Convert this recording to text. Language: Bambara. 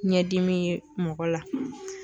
Ɲɛdimi ye mɔgɔ la